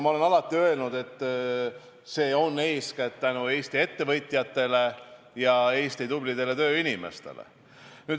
Ma olen alati öelnud, et see on eeskätt tänu Eesti ettevõtjatele ja tublidele tööinimestele.